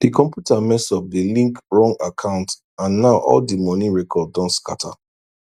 di computer mess up de link wrong account and now all di money records don scatter